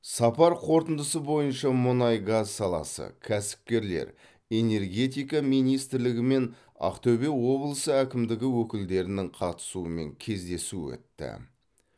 сапар қорытындысы бойынша мұнай газ саласы кәсіпкерлер энергетика министрлігі мен ақтөбе облысы әкімдігі өкілдерінің қатысуымен кездесу өтті